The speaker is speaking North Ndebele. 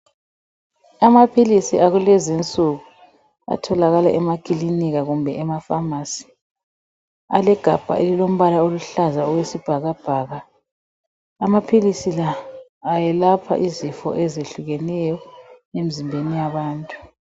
Amaphilisi akulezi nsuku atholakala emakilinika kumbe ema pharmacy . Alegabha elilombala oluhlaza okwesibhakabhaka .Amaphilisi la ayelapha izifo ezehlukeneyo emzimbeni yabantu.